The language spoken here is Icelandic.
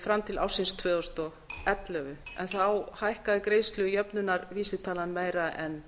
fram til ársins tvö þúsund og ellefu en þá hækkaði greiðslujöfnunarvísitalan meira en